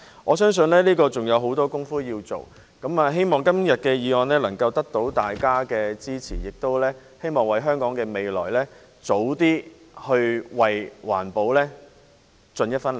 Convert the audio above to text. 我相信這方面還有許多工夫要做。希望今天的議案獲得大家支持，亦希望能預早為香港的未來和環保盡一分力。